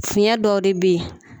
Fiɲɛ dɔw de beyi.